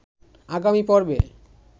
আগামী পর্বে